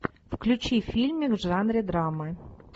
включи фильмик в жанре драмы